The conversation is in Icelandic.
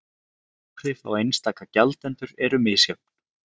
Áhrif á einstaka gjaldendur eru misjöfn